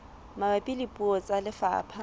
mabapi le puo tsa lefapha